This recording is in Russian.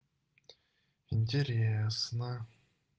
интересно